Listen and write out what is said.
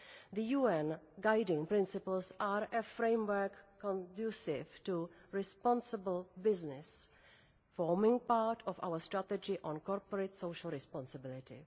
The UN Guiding Principles are a framework conducive to responsible business, forming part of our Strategy on Corporate Social Responsibility.